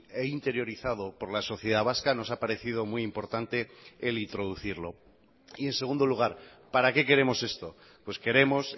e interiorizado por la sociedad vasca nos ha parecido muy importante el introducirlo y en segundo lugar para qué queremos esto pues queremos